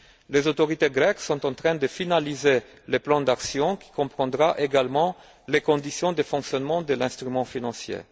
Les autorités grecques sont en train de finaliser le plan d'action qui comprendra également les conditions de fonctionnement de l'instrument financier.